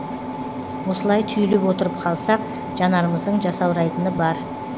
осылай түйіліп отырып қалсақ жанарымыздың жасаурайтыны бар